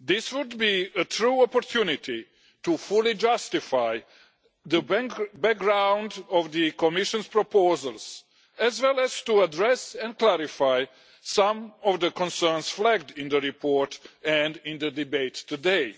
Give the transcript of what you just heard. This would be a true opportunity to fully justify the background to the Commission's proposals, as well as to address and clarify some of the concerns flagged in the report and in the debates today.